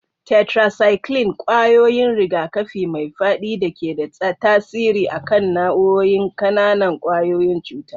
Tetracycline: Kwayoyin rigakafi mai fadi da ke da tasiri a kan nau'o'in ƙananan ƙwayoyin cuta.